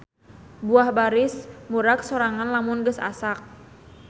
Buah baris murag sorangan lamun geus asak